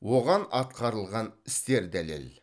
оған атқарылған істер дәлел